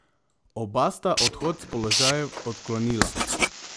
Oba sta odhod s položajev odklonila.